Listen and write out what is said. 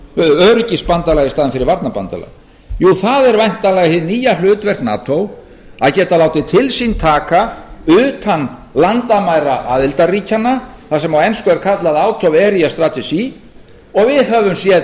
öryggisbandalag í staðinn fyrir varnarbandalag jú það er væntanlega hið nýja hlutverk nato að geta látið til sín taka utan landamæra aðildarríkjanna það sem á ensku er kallað autoeriastrategy og við höfum séð